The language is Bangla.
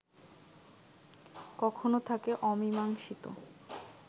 কখনো থাকে অমীমাংসিত